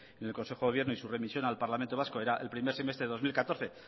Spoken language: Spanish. en el consejo de gobierno y su remisión al parlamento vasco era el primer semestre del dos mil catorce